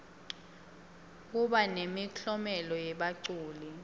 kuba nemiklomelo yebaculi